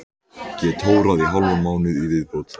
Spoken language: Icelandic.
Get tórað í hálfan mánuð í viðbót.